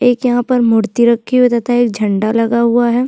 एक यहाँ पर मूर्ति रखी हुई है तथा एक झंडा लगा हुआ है।